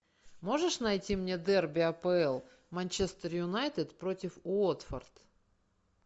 можешь найти мне дерби апл манчестер юнайтед против уотфорд